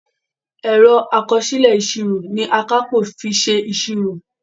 Ẹ̀rọ àkọsílẹ̀ ìsírò ní Akápò fí ṣe ìsírò.